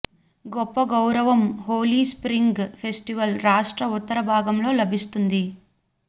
గొప్ప గౌరవం Holi spring festival రాష్ట్ర ఉత్తర భాగంలో లభిస్తుంది